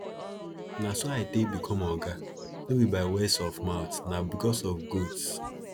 na so i take become oga no be by words of mouth na because of goats